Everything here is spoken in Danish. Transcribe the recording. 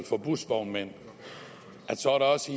for busvognmænd så også